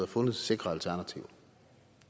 fundet sikre alternativer